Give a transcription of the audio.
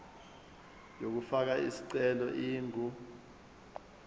yokufaka isicelo ingu